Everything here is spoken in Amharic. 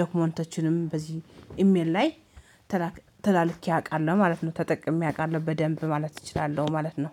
ዶክመንቶችንም በዚህ ኢሜል ላይ ተላልኬ አውቃለሁ ማለት ነው። ተጠቅሜ አውቃለሁ በደንብ ማለት እችላለሁ ማለት ነው